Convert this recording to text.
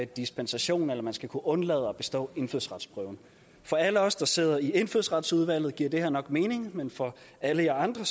dispensation eller man skal kunne undlade at bestå indfødsretsprøven for alle os der sidder i indfødsretsudvalget giver det her nok mening men for alle jer andre